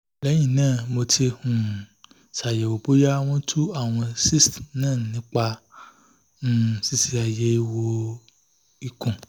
lẹ́yìn náà mo ti um ṣàyẹ̀wò bóyá wọ́n tú àwọn cysts náà nípa um ṣíṣe àyẹ̀wò ikùn